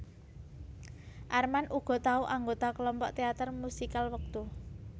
Armand uga tau anggota kelompok teater musikal wektu